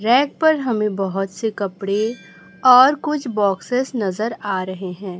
Rack पर हमें बहोत से कपड़े और कुछ बॉक्सेस नजर आ रहे हैं।